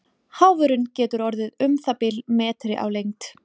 Háfurinn getur orðið um það bil metri á lengd.